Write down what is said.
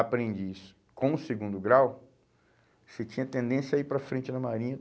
aprendiz com o segundo grau, você tinha tendência a ir para frente na marinha.